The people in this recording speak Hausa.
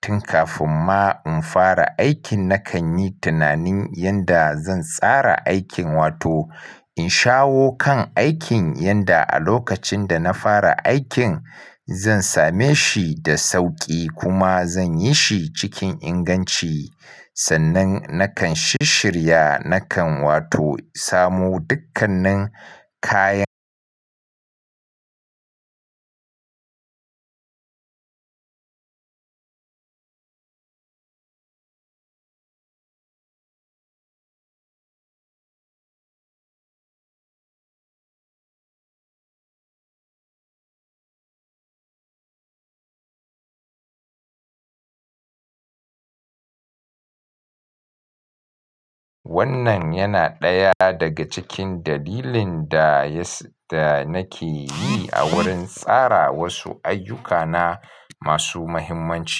tun kafin ma in fara aikin nakanyi tunanin yanda zan tsara aikin wato in shawo kan aikin yanda a lokacin dana fara aikin zan same shi da sauƙi kuma zan yi shi cikin inganci. Sannan nakan shishshirya nakan wato sami dukkanin kayan wannan yana ɗaya daga cikin dalilin dayas-- da nakeyi a wurin tsara wasu ayyukana masu muhimmanci.